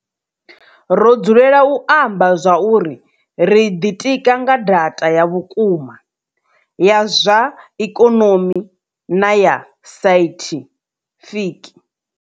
Ro dzulela u amba zwauri ri ḓitika nga data ya vhukuma, ya zwa ikonomi na ya saithifiki